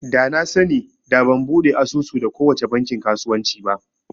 Da na sani da ban buɗe asusu da kowace bankin kasuwanci ba